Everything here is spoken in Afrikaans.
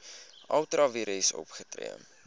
ultra vires opgetree